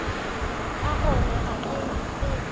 ka gona ga ke tsebe